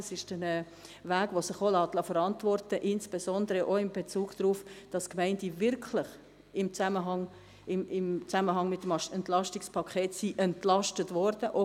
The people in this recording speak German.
das ist ein Weg, der sich auch verantworten lässt, insbesondere auch weil die Gemeinden im Zusammenhang mit dem EP tatsächlich entlastet worden sind.»